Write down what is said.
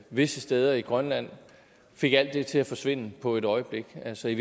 visse steder i grønland fik alt det til at forsvinde på et øjeblik altså i